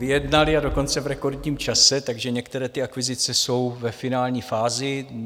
Vyjednali, a dokonce v rekordním čase, takže některé ty akvizice jsou ve finální fázi.